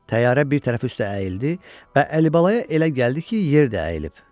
Təyyarə bir tərəfi üstə əyildi və Əlibalaya elə gəldi ki, yer də əyilib.